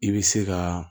I bɛ se ka